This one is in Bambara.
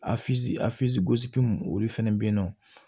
a gosikun olu fɛnɛ be yen nɔ